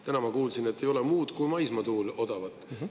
Täna ma kuulsin, et ei ole muud kui maismaatuul odavat.